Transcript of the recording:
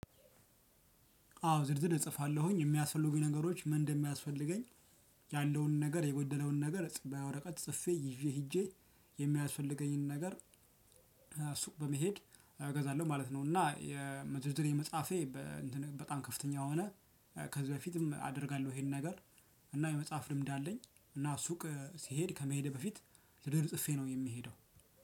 አዎ ዝርዝር እጽፋለሁኝ የሚያስፈልጉኝ ነገሮች ምን እንደሚያስፈልገኝ ያለውን ነገር የጎደለውን ነገር ጽፌበ ወረቀት ጽፌ ይዤ ሄጄ የሚያስፈልገኝን ነገር እሱቅ በመሄድ እገዛለሁ ማለት ነው። እና የምዝዝሬ መጻፌ በጣም ከፍተኛ ሆነ። ከዚህ በፊትም አደርጋለሁ ይሄን ነገር። እና የመጻፍ ልምድ አለኝ እና ሱቅ ሲሄድ ከመሄድ በፊት ስድር ጽፌ ነው የሚሄደው።